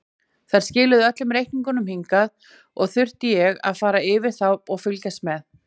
Þær skiluðu öllum reikningum hingað og þurfti ég að fara yfir þá og fylgjast með.